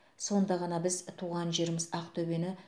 сонда ғана біз туған жеріміз ақтөбені